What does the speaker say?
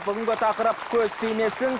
бүгінгі тақырып көз тимесін